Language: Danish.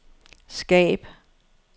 skab